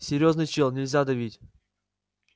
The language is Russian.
серьёзный чел нельзя давить